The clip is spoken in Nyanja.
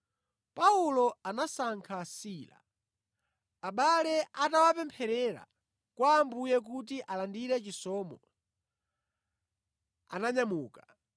Paulo anasankha Sila. Abale atawapempherera kwa Ambuye kuti alandire chisomo, ananyamuka.